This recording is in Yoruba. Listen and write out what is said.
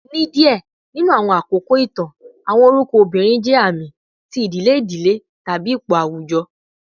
ni diẹ ninu awọn akoko itan, awọn orukọ obirin jẹ aami ti idile idile tabi ipo awujọ